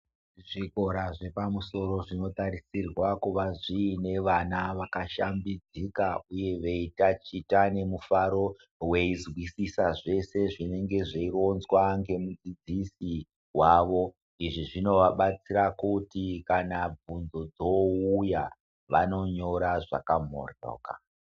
Zvikora zvepamusoro zvinotarisirwa kunge zviine vana vakashambidzika uye veitachita nemufaro veizwisisa zvee nezvinenge zvaironzwa nemudzidzisi wavo uye zvinovabatsira kuti kana bvunzo dzouya vanonyora zvakamoryoka .